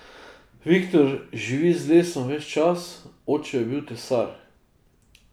Viktor živi z lesom ves čas, oče je bil tesar.